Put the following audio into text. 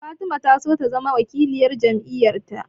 Fatima ta so ta zama wakiliyar jam'iyar ta